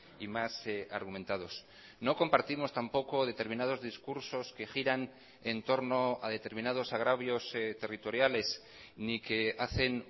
y más argumentados no compartimos tampoco determinados discursos que giran en torno a determinados agravios territoriales ni que hacen